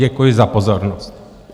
Děkuji za pozornost.